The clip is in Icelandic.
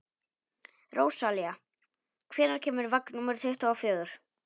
Rósalía, hvenær kemur vagn númer tuttugu og fjögur?